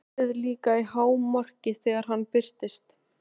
Fjörið líka í hámarki þegar hann birtist.